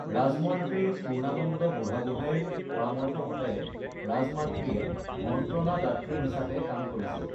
ৰাজমন্ত্ৰী পূৰ্নানন্দ বুঢ়াগোঁহাইৰ পৰামৰ্শ মতে ৰাজমাতৃয়ে মন্ত্ৰনা দাতৃ হিচাবে কাম কৰিছিল